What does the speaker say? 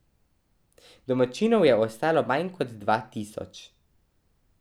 Domačinov je ostalo manj kot dva tisoč.